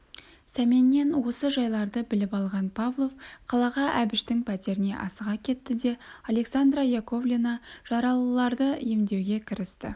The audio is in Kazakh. сәменнен осы жайларды біліп алған павлов қалаға әбіштің пәтеріне асыға кетті де александра яковлевна жаралыларды емдеуге кірісті